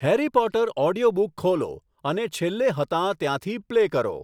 Harry Potter audiobook ખોલો અને છેલ્લે હતાં ત્યાંથી પ્લે કરો